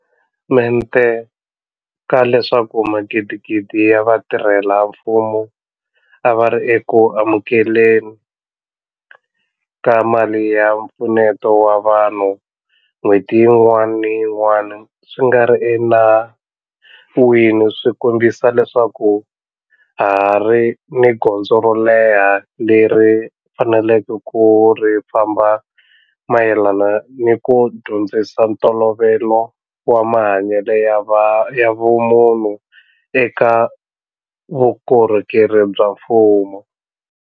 Mente ka leswaku magidigidi ya vatirhela mfumo a va ri eku amukele ni ka mali ya mpfuneto wa vanhu n'hweti yin'wana ni yin'wana swi nga ri enawini swi kombisa leswaku ha ha ri ni gondzo ro leha leri hi faneleke ku ri famba mayelana ni ku dyondzisa ntolovelo wa mahanyelo ya vumunhu eka vukorhokeri bya mfumo.